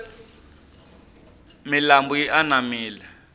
milambu yi anamile